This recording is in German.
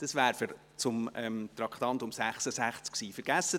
Dieser liegt aber zu Traktandum 66 vor.